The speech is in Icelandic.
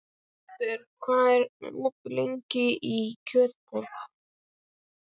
Heiðbert, hvað er opið lengi í Kjötborg?